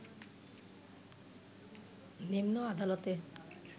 নিম্ন আদালতে